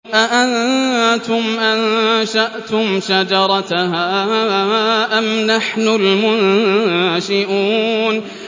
أَأَنتُمْ أَنشَأْتُمْ شَجَرَتَهَا أَمْ نَحْنُ الْمُنشِئُونَ